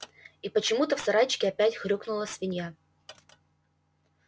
и почему-то в сарайчике опять хрюкнула свинья